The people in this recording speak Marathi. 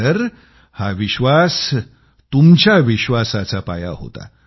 तर हा विश्वास तुमच्या विश्वासाचा पाया होता